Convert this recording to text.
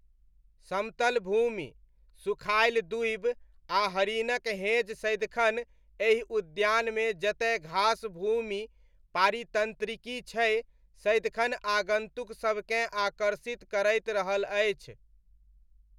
समतल भूमि, सुखायल दूबि आ हरिनक हेँज सदिखन एहि उद्यानमे जतय घासभूमि पारीतन्त्रिकी छै, सदिखन आगन्तुकसबकेँ आकर्षित करैत रहल अछि।